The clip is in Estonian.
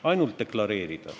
Ainult deklareerida.